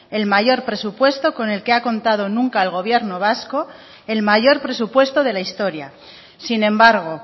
el mayor presupuesto con el que ha contado nunca el gobierno vasco el mayor presupuesto de la historia sin embargo